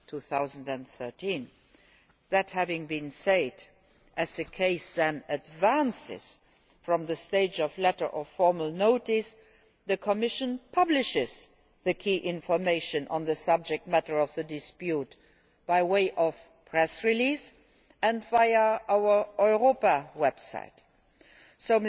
2013. That having been said, as the case then advances from the stage of letter of formal notice, the Commission publishes the key information on the subject matter of the dispute by way of a press release and via our Europa website.